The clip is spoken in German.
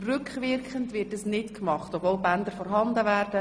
Rückwirkend wird das nicht gemacht, obwohl die Bänder vorhanden wären.